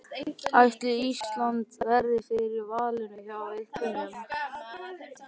Ætli Ísland verði fyrir valinu hjá einhverjum?